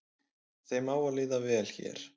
Þeim á að líða vel hér